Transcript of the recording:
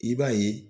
I b'a ye